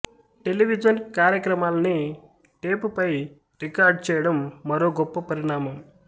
television కార్యక్రమాల్ని tape పై record చేయడం మరో గొప్ప పరిణామం